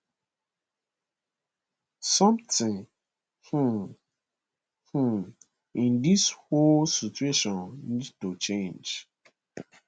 somtin um um in dis whole situation need to change